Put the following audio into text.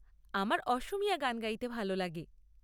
আমার অসমীয়া গান গাইতে ভাল লাগে।